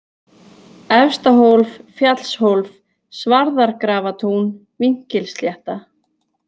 Efstahólf, Fjallshólf, Svarðargrafatún, Vínkilslétta